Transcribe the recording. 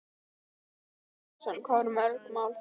Ásgeir Erlendsson: Hvað voru mörg mál þá?